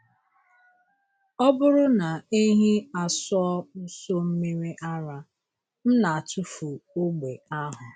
Ọ bụrụ na ehi asụọ nso mmiri ara, m na-atụfu ogbe ahụ.